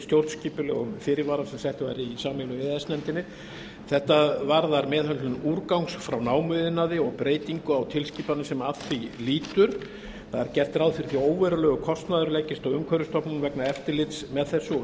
stjórnskipulegum fyrirvara sem sett var í samningnum í e e s nefndinni þetta varðar meðhöndlun úrgangs frá námuiðnaði og breytingu á tilskipaninni sem að því lýtur það er gert ráð fyrir að óverulegur kostnaður leggist á umhverfisstofnun vegna eftirlits með þessu og